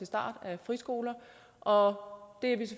start af friskoler og